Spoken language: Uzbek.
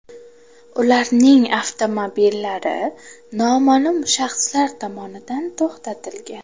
Ularning avtomobillari noma’lum shaxslar tomonidan to‘xtatilgan.